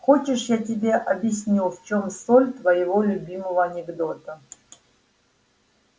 хочешь я тебе объясню в чем соль твоего любимого анекдота